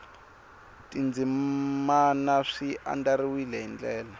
tindzimana swi andlariwile hi ndlela